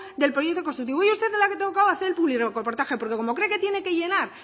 del proyecto constructivo hoy a usted le ha tocado hacer el publirreportaje porque como cree que tiene que llenar